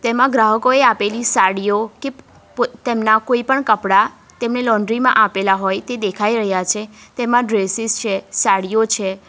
એમાં ગ્રાહકોએ આપેલી સાડીઓ કે પોતે તેમના કોઈ પણ કપડા તેમને લોન્ડ્રી માં આપેલા હોય તે દેખાઈ રહ્યા છે તેમાં ડ્રેસીસ છે સાડીઓ છે.